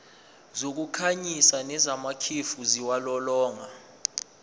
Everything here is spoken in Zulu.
zokukhanyisa nezamakhefu ziwulolonga